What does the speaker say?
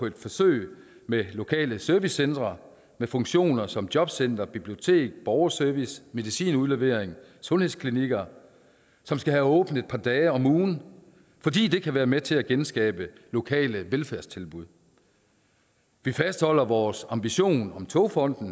et forsøg med lokale servicecentre med funktioner som jobcenter bibliotek borgerservice medicinudlevering og sundhedsklinikker som skal have åbent et par dage om ugen fordi det kan være med til at genskabe lokale velfærdstilbud vi fastholder vores ambition om togfonden